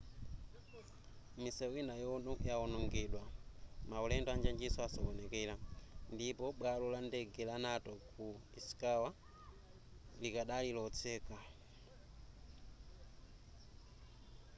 misewu ina yawonongedwa maulendo anjanjinso asokonekera ndipo bwalo la ndege la noto ku ishikawa ylikadali lotseka